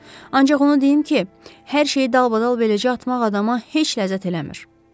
Ancaq onu deyim ki, hər şeyi dalbadal beləcə atmaq adama heç ləzzət eləmir.